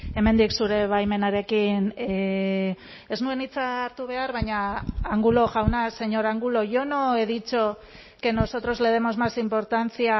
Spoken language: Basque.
hemendik zure baimenarekin ez nuen hitza hartu behar baina angulo jauna señor angulo yo no he dicho que nosotros le demos más importancia